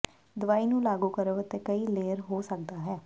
ਦਵਾਈ ਨੂੰ ਲਾਗੂ ਕਰੋ ਅਤੇ ਕਈ ਲੇਅਰ ਹੋ ਸਕਦਾ ਹੈ